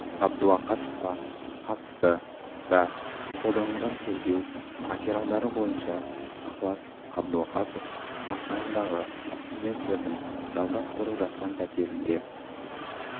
қабдуақасовқа қатысты да қолданылған тергеу материалдары бойынша ықылас қабдуақасов астанадағы студенттердің жалдап тұрып жатқан пәтерінде